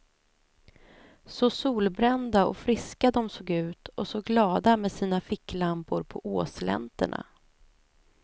Så solbrända och friska de såg ut och så glada med sina ficklampor på åslänterna.